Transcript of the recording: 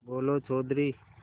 बोलो चौधरी